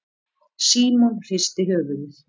Símon hristi höfuðið.